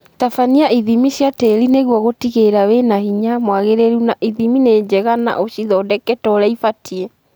Tabania ithimi cia tĩri nĩguo gũtigĩrĩra wĩna hinya mwagĩrĩru na ithimi ni njega na ũcithondeke torĩa ibatie